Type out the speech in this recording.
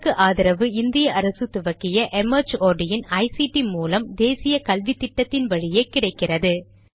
இதற்கு ஆதரவு இந்திய அரசு துவக்கிய ictமார்ட் மூலம் தேசிய கல்வித்திட்டத்தின் வழியே கிடைக்கிறது